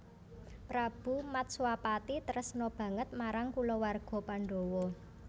Prabu Matswapati tresna banget marang kulawarga Pandawa